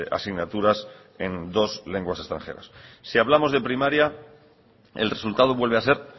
asignaturas en dos lenguas extranjeras si hablamos de primaria el resultado vuelve a ser